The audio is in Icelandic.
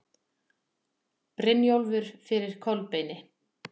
Brynjólfur fyrir Kolbeini.